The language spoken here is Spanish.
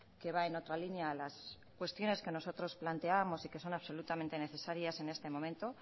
que va en otra línea a las cuestiones que nosotros planteábamos y que son absolutamente necesarias en este momento